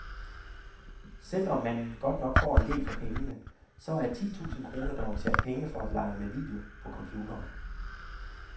Selvom man godt nok får en del for pengene, så er ti tusind kroner dog en sjat penge for at lege med video på computeren.